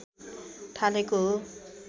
थालेको हो